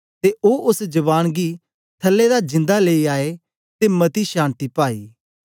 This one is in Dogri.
ते ओ ओस जवान गी थलै दा जिंदा लेई आए ते मती शान्ति पाई